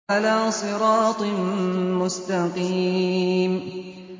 عَلَىٰ صِرَاطٍ مُّسْتَقِيمٍ